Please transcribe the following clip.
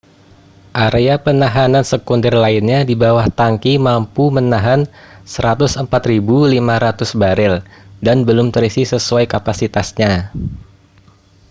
area penahanan sekunder lainnya di bawah tangki mampu menahan 104.500 barel dan belum terisi sesuai kapasitasnya